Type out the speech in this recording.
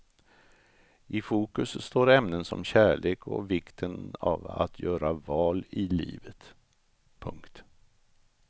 I fokus står ämnen som kärlek och vikten av att göra val i livet. punkt